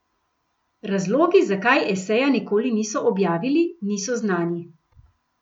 Razlogi, zakaj eseja nikoli niso objavili, niso znani.